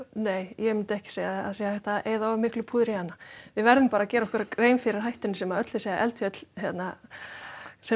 nei ég myndi ekki segja að það sé hægt að eyða of miklu púðri í hana við verðum bara að gera okkur grein fyrir hættunni sem að öll þessi eldfjöll sem